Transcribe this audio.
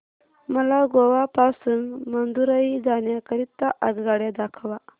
मला गोवा पासून मदुरई जाण्या करीता आगगाड्या दाखवा